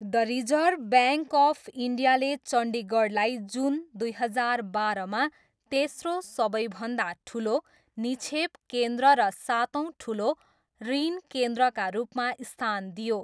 The reserve bank of इन्डियाले चण्डीगढलाई जुन दुई हजार बाह्रमा तेस्रो सबैभन्दा ठुलो निक्षेप केन्द्र र सातौँ ठुलो ऋण केन्द्रका रूपमा स्थान दियो।